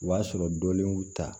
O b'a sɔrɔ dɔnnin y'u ta